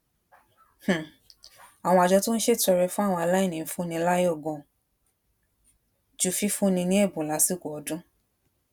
um àwọn àjọ tó ń ṣètọrẹ fún àwọn aláìní ń fúnni láyò ganan ju fífúnni ní èbùn lásìkò ọdún